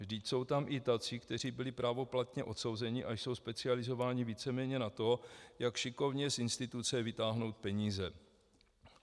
Vždyť jsou tam i tací, kteří byli právoplatně odsouzeni a jsou specializováni víceméně na to, jak šikovně z instituce vytáhnout peníze.